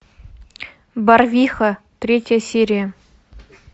барвиха третья серия